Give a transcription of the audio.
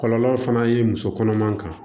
Kɔlɔlɔ fana ye muso kɔnɔman kan